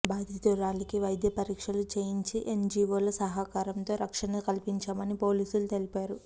బాధితురాలికి వైద్య పరీక్షలు చేయించి ఎన్ జీవోల సహకారంతో రక్షణ కల్పించామని పోలీసులు తెలిపారు